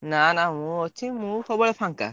ନା ନା ମୁଁ ଅଛି। ମୁଁ ସବୁବେଳେ ଫାଙ୍କା।